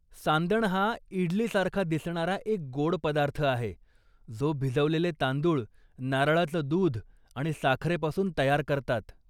सांदण हा इडली सारखा दिसणारा एक गोड पदार्थ आहे जो भिजवलेले तांदूळ, नारळाचं दुध आणि साखरेपासून तयार करतात.